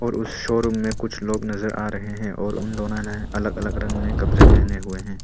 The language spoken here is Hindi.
उस शोरूम में कुछ लोग नजर आ रहे हैं और उन दोनों ने अलग अलग रंग में कपड़े पहने हुए हैं।